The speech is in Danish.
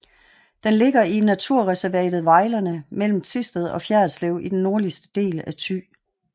Den ligger i naturreservatet Vejlerne mellem Thisted og Fjerritslev i den nordligste del af Thy